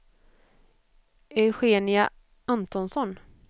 Eugenia Antonsson